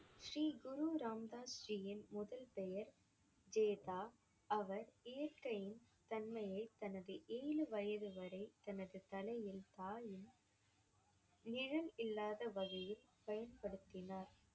ஸ்ரீ குரு ராம் தாஸ் ஜியின் முதல் பெயர் ஜேதா. அவர் இயற்கையின் தன்மையைத் தனது ஏழு வயது வரை தனது நிழல் இல்லாத வகையில் பயன்படுத்தினார்